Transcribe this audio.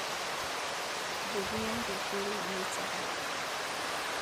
Mbegũya irenge rĩu nĩ njega